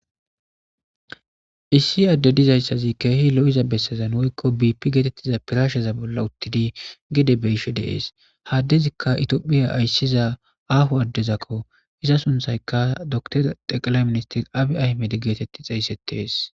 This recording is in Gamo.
Issi addezi keehi lo'iza bessazan woykko biippe getetiza pirasheza bolla uuttidii gedde byishe de'es ha addezikka itophphiya aysiza aaho addezakko iza sunththazikkodokiteri xeqelay ministeri Abiy Ahimmede geetetii xeyssetes